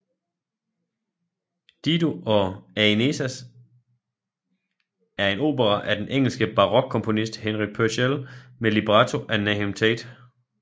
Dido og Aeneas er en opera af den engelske barokkomponist Henry Purcell med libretto af Nahum Tate